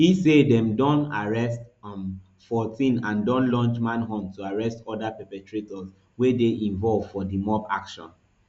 e say dem don arrest um fourteen and don launch manhunt to arrest oda perpetrators wey dey involved for di mob action